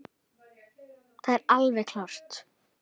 Það er alveg klárt.